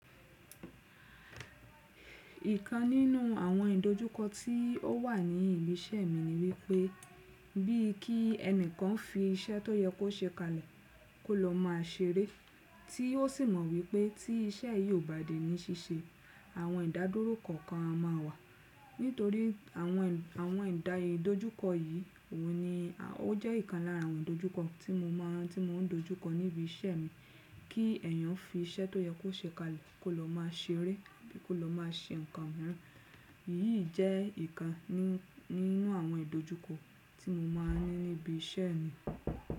Ìkan nínú àwọn ìdojúkọ tí ó wà ní ibi iṣẹ́ mi ni wípé bí i kí ẹnìkan fi iṣẹ́ tó yẹ kó ṣe kalẹ̀ kó lọ máa ṣeré tí ó sì mọ̀ wípé tí iṣẹ́ yìí ò bá dé ní ṣíṣe àwọn ìdádúró kọ̀ọ̀kan a máa wà. Nítorí àwẹn, awẹn ìdá idójúkọ yìí, òun ni ó jẹ́ ìkan lára àwọn ìdojúkọ tí mo máa ń dojúkọ ní ibi iṣẹ́ mi kí ẹ̀yàn fi iṣẹ́ tó yẹ kó ṣe kalẹ̀ kó lọ máa ṣeré bíi kó lọ máa ṣe nǹkan mìíràn. Èyí jẹ́ ìkan nínú àwọn ìdojúkọ tí mo máa ń ní ní ibi iṣẹ́ mi.